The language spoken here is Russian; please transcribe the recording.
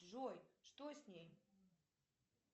джой что с ней